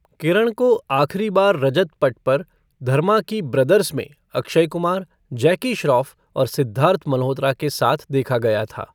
किरण को आखिरी बार रजत पट पर धर्मा की ब्रदर्स में अक्षय कुमार, जैकी श्रॉफ और सिद्धार्थ मल्होत्रा के साथ देखा गया था।